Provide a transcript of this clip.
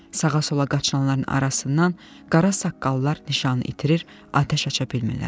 Sağa-sola qaçanların arasından qara saqqallar nişanı itirir, atəş aça bilmirlər.